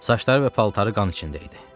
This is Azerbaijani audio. Saçları və paltarı qan içində idi.